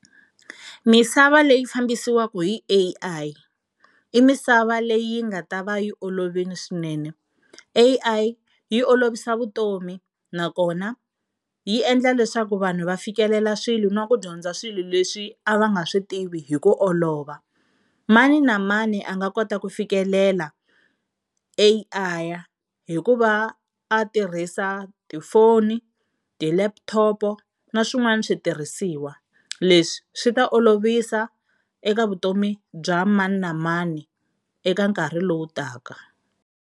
Misava leyi fambisiwaka hi A_I i misava leyi nga ta va yi olovile swinene. A_I yi olovisa vutomi nakona yi endla leswaku vanhu va fikelela swilo na ku dyondza swilo leswi a va nga swi tivi hi ku olova. Mani na mani a nga kota ku fikelela A_I hikuva a tirhisa tifoni ti-laptop na swin'wana switirhisiwa, leswi swi ta olovisa eka vutomi bya mani na mani eka nkarhi lowu taka.